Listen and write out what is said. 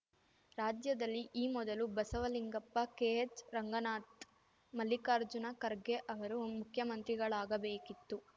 ರಾಜ್ಯದಲ್ಲಿ ಈ ಮೊದಲು ಬಸವಲಿಂಗಪ್ಪ ಕೆಎಚ್‌ರಂಗನಾಥ್‌ ಮಲ್ಲಿಕಾರ್ಜುನ ಖರ್ಗೆ ಅವರು ಮುಖ್ಯಮಂತ್ರಿಗಳಾಗಬೇಕಿತ್ತು